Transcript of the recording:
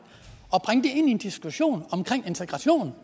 ind en diskussion om integration